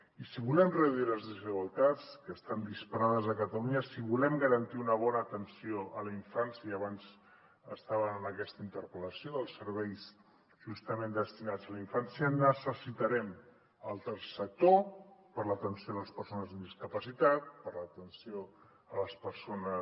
i si volem reduir les desigualtats que estan disparades a catalunya si volem garantir una bona atenció a la infància i abans estaven en aquesta interpel·lació dels serveis justament destinats a la infància necessitarem el tercer sector per a l’atenció a les persones amb discapacitat per a l’atenció a les persones